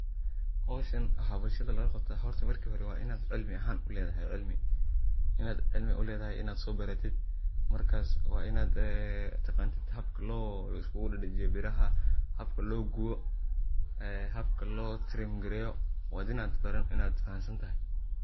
Hoshan waxa bulshada lagaqabta horta marki hore waa inad cilmi ahan uledahy , inad cilmi uledahy anad sobaratit markas waa ina taqanid habka liskugu dadijiyo biraha, habka logubo, en habka loo trim gareyo waa inad fahansantahy.